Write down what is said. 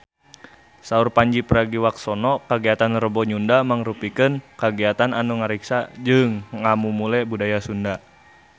Saur Pandji Pragiwaksono kagiatan Rebo Nyunda mangrupikeun kagiatan anu ngariksa jeung ngamumule budaya Sunda